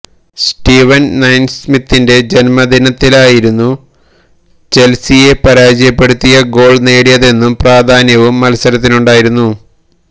സ്റ്റീവന് നയിസ്മിത്തിന്റെ ജന്മദിനത്തിലായിരുന്നു ചെല്സിയെ പരാജയപ്പെടുത്തിയ ഗോള് നേടിയതെന്ന പ്രാധാന്യവും മത്സരത്തിനുണ്ടായിരുന്നു